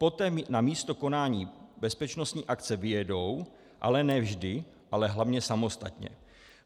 Potom na místo konání bezpečnostní akce vyjedou, ale ne vždy, ale hlavně samostatně.